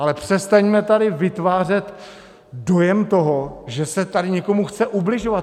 Ale přestaňme tady vytvářet dojem toho, že se tady někomu chce ubližovat.